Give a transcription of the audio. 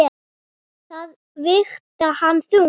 Það vigtar ekki þungt.